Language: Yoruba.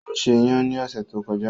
Ó ṣe iyan ní ọ̀sẹ̀ tó kọjá.